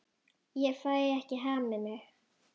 Ég fæ ekki hamið mig.